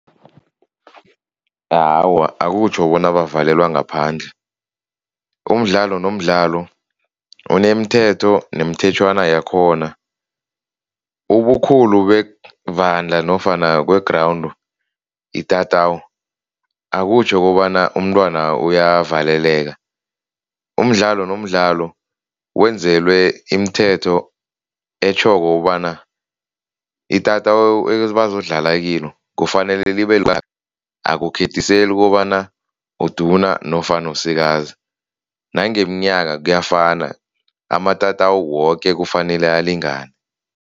Awa, akutjho bona bavalelwa ngaphandle. Umdlalo nomdlalo unemithetho nemithetjhwana yakhona ubukhulu bevandla nofana kwe-ground, itatawu, akutjho kobana umntwana uyavaleleka. Umdlalo nomdlalo wenzelwe imithetho etjhoko ukobana itatawu ebazodlala kilo kufanele akukhethiseli kukobana uduna nofana esikazi, nangeminyaka kuyafana, amatatawu woke kufanele alingane.